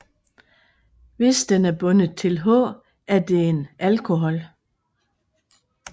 Hvis den er bundet til H er det en alkohol